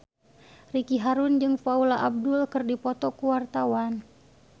Ricky Harun jeung Paula Abdul keur dipoto ku wartawan